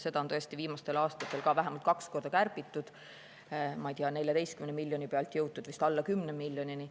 Seda on tõesti viimastel aastatel vähemalt kaks korda kärbitud, 14 miljoni pealt on jõutud vist alla 10 miljonini.